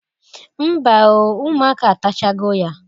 Mba o, ụmụaka atachago ya